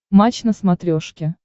матч на смотрешке